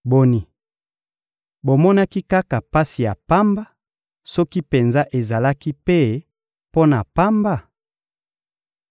Boni, bomonaki kaka pasi ya pamba, soki penza ezalaki mpe mpo na pamba?